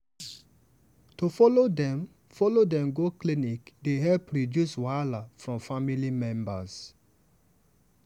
to follow dem follow dem go clinic dey help reduce wahala from family members.